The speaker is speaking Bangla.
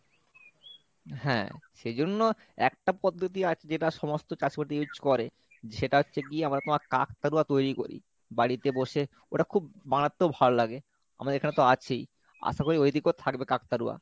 হ্যাঁ সে জন্য একটা পদ্ধতি আছে যেটা সমস্ত চাষ করতে use করে সেটা হচ্ছে কি আমরা তোমার কাকতাড়ুয়া তৈরী করি বাড়িতে বসে ওটা খুব মারাত্মক ভালো লাগে আমাদের এখানে তো আছেই আশা করি ঐদিকেও থাকবে কাকতাড়ুয়া।